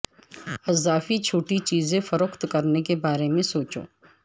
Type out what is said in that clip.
اضافی چھوٹی چیزیں فروخت کرنے کے بارے میں سوچو